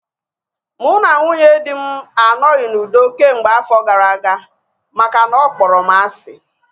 Mụ na nwunye dị m anoghi n'udo kemgbe afọ gara aga makana ọ kpọrọ m asị